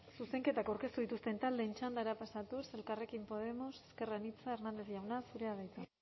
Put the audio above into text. zuzenketak aurkeztu dituzten taldeen txandara pasatuz elkarrekin podemos ezker anitza hernández jauna zurea da hitza